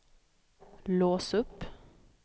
lås upp